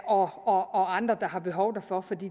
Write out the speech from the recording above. og andre der har behov derfor for